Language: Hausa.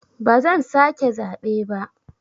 Ba zan sake zaɓe ba.